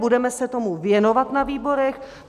Budeme se tomu věnovat na výborech.